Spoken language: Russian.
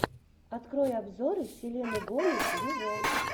открой обзоры селены гомес виво